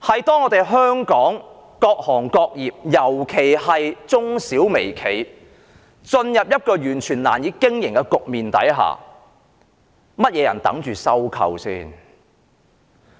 當香港各行各業，尤其是中小微型企業進入完全難以經營的局面下，誰會等待着收購他們？